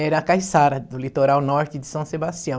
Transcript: era a caiçara do litoral norte de São Sebastião.